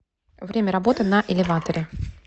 время работы на элеваторе